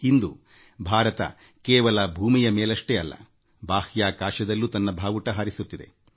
ಇಂದು ಭಾರತ ಕೇವಲ ಭೂಮಿಯ ಮೇಲಷ್ಟೇ ಅಲ್ಲ ಬಾಹ್ಯಾಕಾಶದಲ್ಲೂ ತನ್ನ ಪತಾಕೆ ಹಾರಿಸುತ್ತಿದೆ